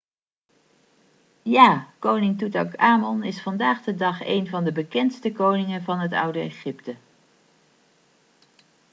ja koning toetanchamon is vandaag de dag een van de bekendste koningen van het oude egypte